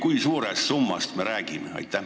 Kui suurest summast me räägime?